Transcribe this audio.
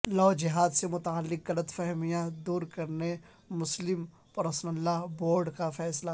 لو جہاد سے متعلق غلط فہمیاں دور کرنے مسلم پرسنل لاء بورڈ کا فیصلہ